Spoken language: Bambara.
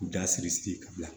K'u da siri sigi ka bila